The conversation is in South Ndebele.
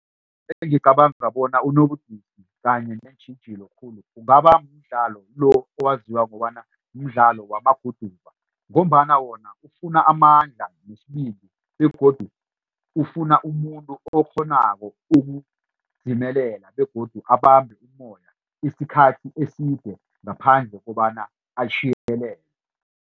Engicabanga bona unobudisi kanye neentjhijilo khulu kungaba mdlalo lo owaziwa kobana mdlalo wamaguduva ngombana wona ufuna amandla nesibindi begodu ufuna umuntu okghonako ukudzimelela begodu abambhe umoya isikhathi eside ngaphandle kobana .